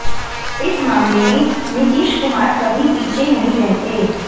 इस मामले में नीतीश कुमार कभी पीछे नहीं रहते